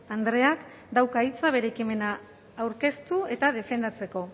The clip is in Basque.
andreak dauka hitza bere ekimena aurkeztu eta defendatzeko